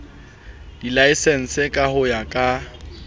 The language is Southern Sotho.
dilaesense ka ho ya ka